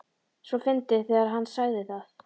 svo fyndið þegar HANN sagði það!